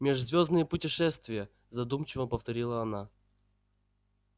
межзвёздные путешествия задумчиво повторила она